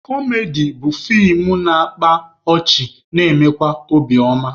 Kọmedi bụ feem na-akpa ọchị na-emekwa obi oma.